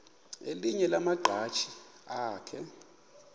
elinye lamaqhaji akhe